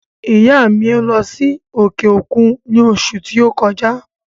ìyá à mi lọ́ sí òkè òkun ní òṣù ti o kọjá.